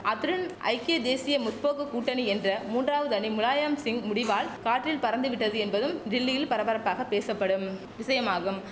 அத்துடன் ஐக்கிய தேசிய முற்போக்கு கூட்டணி என்ற மூன்றாவது அணி முலாயம்சிங் முடிவால் காற்றில் பறந்து விட்டது என்பதும் டில்லியில் பரபரப்பாக பேசப்படும் விஷயம் ஆகும்